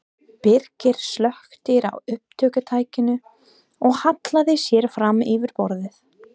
Birkir slökkti á upptökutækinu og hallaði sér fram yfir borðið.